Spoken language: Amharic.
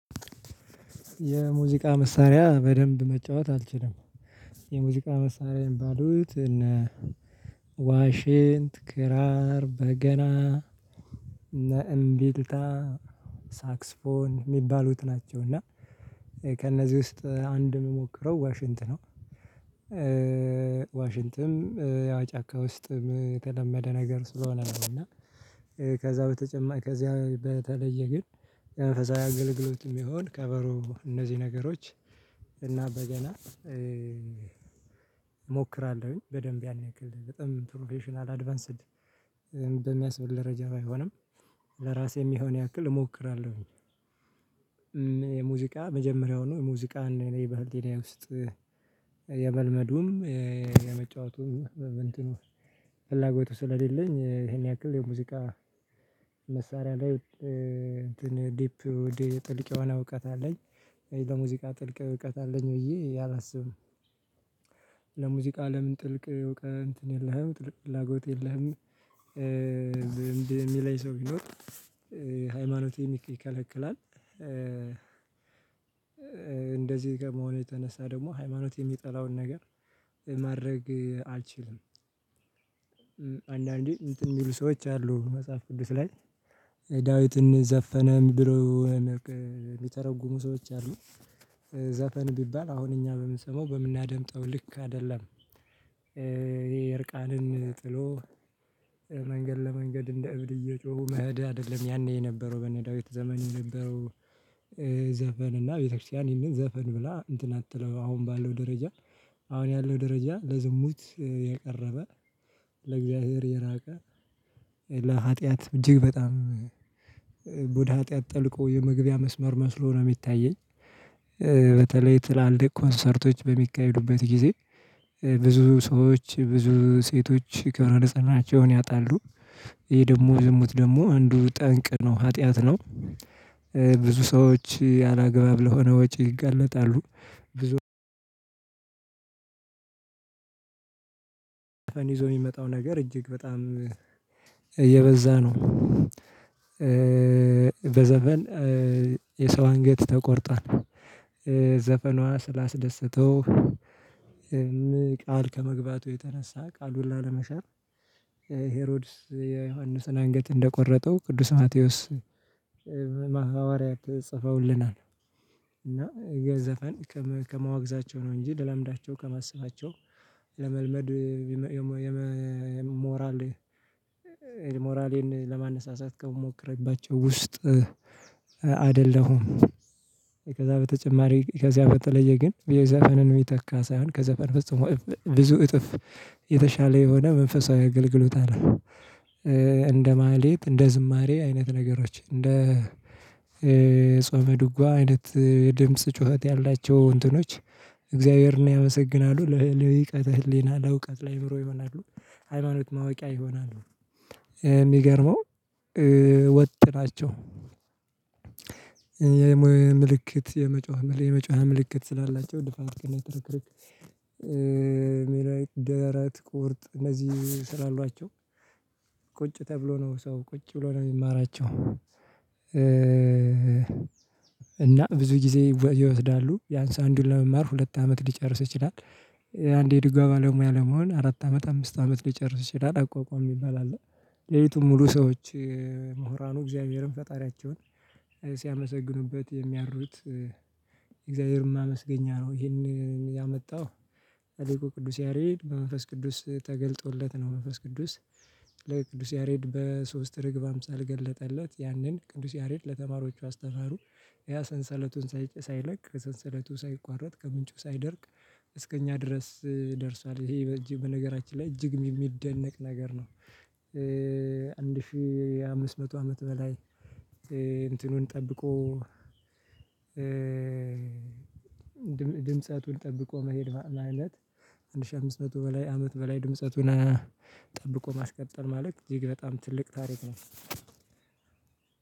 የሙዚቃ መሳሪያ በደንብ መጫወት አትችልም። የሙዚቃ መሳሪያ ባዶት እኔ ዋሽንት ክራር በገና እና እሚቢልታ ሳክስፎን የሚባሉት ናቸው እና ከእነዚህ ውስጥ አንድ ምሞክረው ዋሽንት ነው። ዋሽንትም ጫካ ውስጥ የተለመደ ነገር ስለሆነ ነው እና ከዛ በተጨማሪ ከዚያ በተለየ ግን የመንፈሳዊ አገልግሎት ሚሆን ከበሮ እነዚህ ነገሮች እና በገና እሞክራለሁኝ በደንብ ያን ያክል በጣም ፕሮፌሽናል አድቫንስድ በሚያስበል ደረጃ ባይሆንም ለራሴ የሚሆን ያክል እሞክራለሁኝ። የሙዚቃ መጀመሪያው ነው የሙዚቃ እኔ በሕልናዬ ውስጥ የመልመዱም የመጫወቱም በእንትኑ ፍላጎቱ ስለሌለኝ ይሄን ያክል የሙዚቃ መሳሪያ ላይ እንትን ዲፕ ውደ ጥልቅ የሆነ እውቀት አለኝ በሙዚቃ ጥልቅ እውቀት አለኝ ብዬ አላስብም በሙዚቃ አለም ጥልቅ እውቀት እንትን የለህም ጥልቅ ፍላጎት የለህም ሚለኝ ሰው ብኖር ሃይማኖቴም ይከለክላል እንደዚህ ከመሆኑ የተነሳ ደግሞ ሃይማኖት የሚጠላውን ነገር ማድረግ አልችልም አንዳንዴ እንትን የሚሉ ሰዎች አሉ መጽሐፍ ቅዱስ ላይ ዳዊትን ዘፈነ ድሮ ሚተረጉሙ ሰዎች አሉ ዘፈን ቢባል አሁን እኛ በምንሰማው በምናደምጠው ልክ አይደለም። ይሄ እርቃንን ጥሎ መንገድ ለመንገድ እንደ እብድ እየጮሁ መድ አይደለም ያኔ የነበረው በነ ዳዊት ዘመን የነበረው ዘፈን እና ቤተክርስቲያን ይህንን ዘፈን ብላ እንትን አትለው አሁን ያለው ደረጃ አሁን ያለው ደረጃ ለዝሙት የቀረበ ለእግዚአብሔር የራቀ ለሀጥያት እጅግ በጣም ወደ ሀጥያት ጠልቆ የመግቢያ መስመር መስሎ ነው የሚታየኝ በተለይ ትላልቅ ኮንሰርቶች በሚካሄዱበት ጊዜ ብዙ ሰዎች ብዙ ሴቶች ከብረ ንጽህናቸውን ያጣሉ ይሄ ደግሞ ዝሙት ደግሞ አንዱ ጠንቅ ነው ኃጢአት ነው። ብዙ ሰዎች ያለ አግባብ ለሆነ ወጭ ይገለጣሉ ብዙ ፌን ይዞ የሚመጣው ነገር እጅግ በጣም እየበዛ ነው በዘፌን የሰው አንገት ተቆርጧል። ዘፈኗ ስላስደሰተው ይሄም ቃል ከመግባቱ የተነሳ ቃል ላሌመሻር ሄሮድስ የዮሐንስን አንገት እንደ ቆረጠው ቅዱስ ማቴዎስ ሐዋርያት ጽፈውልናል እና ግን ዘፈን ከመዋግዛቸው ነው እንጂ ለልምዳቸው ከማስባቸው ለመልመድ ሞራል ሞራሌን ለማነሳሳት ከምሞክርባቸው ውስጥ አይደለሁም። ከዛ በተጨማሪ ከዚያ በተለየ ግን የዘፈንን ሚተካ ሳይሆን ከዘፈን ፍጹም ብዙ እጥፍ የተሻለ የሆነ መንፈሳዊ አገልግሎት አለ። እንደ ማህሌት እንደ ዝማሬ አይነት ነገሮች እንደ"" ጾም ዱጋ አይነት ድምጽ ጩኸት ያላቸው እንትኖች እግዚአብሔርን ያመሰግናሉ ልቀት ህሊና ለእውቀት ላአይምሮ ይሆናሉ ሃይማኖት ማወቂያ ይሆናሉ። የሚገርመው ወጥ ናቸው። የመጮኸ ምልክት የመጮኽ ምልክት ስላላቸው ድፋት ትርክርክ ደረት ቁርጥ እነዚህ ስላሉአቸው ቁጭ ተብሎ ነው ሰው ቁጭ ብሎ ነው የሚማራቸው እና ብዙ ጊዜ ይወስዳሉ ብያንስ አንዱን ለመማር ሁለት አመት ልጨርስ ይችላል። አንዴ ድጓሚ ባለሙያ ለመሆን አራት አመት አምስት አመት ሊጨርስ ይችላል አቋቋም ይባላል የዩቱብ ሙሉ ሰዎች ምሁራኑ እግዚአብሔርን ፈጣሪያቸውን ሲያመሰግኑበት የሚያርዱት እግዚአብሔርን ማመስገኛ ነው ይሄን ያመጣው ትልቁ ቅዱስ ያሬድ በመንፈስ ቅዱስ ተገልጦለት ነው መንፈስ ቅዱስ ለቅዱስ ያሬድ በሶስት ርግብ አምሳል ገለጠለት ያንን ቅዱስ ያሬድ ለተማሪዎቹ አስተማሩ። ያ ሰንሰለቱን ሳይጨርስ ሳይለቅ ከሰንሰለቱ ሳይቋረጥ ከምንጩ ሳይደርቅ እስከኛ ድረስ ደርሷል ይሄ በእጅግ በነገራችን ላይ እጅግ የሚደነቅ ነገር ነው አንድ ሺህ አምስት መቶ አመት በላይ እንትኑን ጠብቆ ድምጻቱን ጠብቆ መሄድ ማለት አንድ ሺህ አምስት መቶ በላይ አመት በላይ ድምጸቱን ጠብቆ ማስቀጠል ማለት እጅግ በጣም ትልቅ ታሪክ ነው።